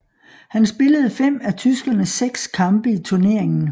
Han spillede fem af tyskernes seks kampe i turneringen